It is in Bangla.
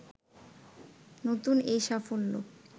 নতুন এই সাফল্য